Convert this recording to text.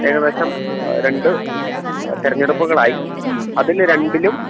ഏകദേശം രണ്ട് തിരഞ്ഞെടുപ്പുകളായി അതില് രണ്ടിലും